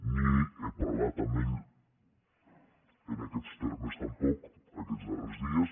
ni he parlat amb ell en aquests termes tampoc aquests darrers dies